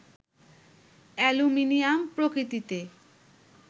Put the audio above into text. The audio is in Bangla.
অ্যালুমিনিয়াম প্রকৃতিতে